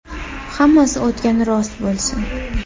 Hammasi o‘tgani rost bo‘lsin.